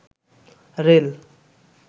rail